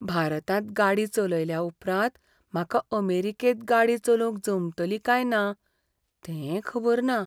भारतांत गाडी चलयल्या उपरांत म्हाका अमेरिकेंत गाडी चलोवंक जमतली काय ना तें खबर ना.